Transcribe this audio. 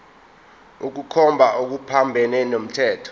ukukhomba okuphambene nomthetho